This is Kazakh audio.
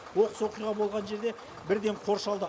оқыс оқиға болған жер де бірден қоршалды